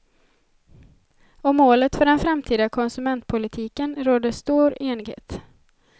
Om målet för den framtida konsumentpolitiken råder stor enighet.